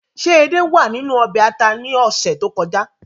Ṣé edé wàa ninu ọbè ata ni ọsẹ to kọja?